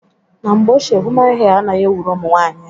Na mgbe ochie human hee anaghị ewuru ụmụnwanyị anyị.